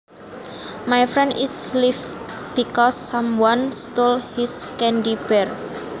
My friend is livid because someone stole his candy bar